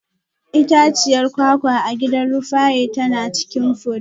Itaciyar kwakwa a gidan Rufaye tana cikin fure.